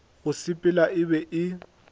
go sepela e be e